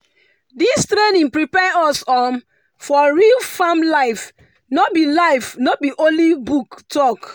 this training prepare us um for real farm life no be life no be only book talk.